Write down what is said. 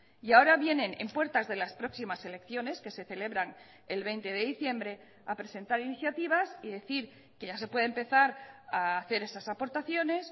y ahora vienen en puertas de las próximas elecciones que se celebran el veinte de diciembre a presentar iniciativas y decir que ya se puede empezar a hacer esas aportaciones